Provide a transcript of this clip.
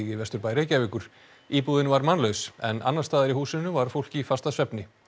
í Vesturbæ Reykjavíkur íbúðin var mannlaus en annars staðar í húsinu var fólk í fastasvefni